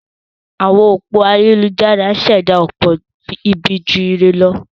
Àwọn òpó ayélujára ń ṣẹ̀dá ọ̀pọ̀ ibi ju ire lọ.